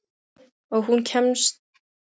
Og hún kemur okkur endalaust á óvart.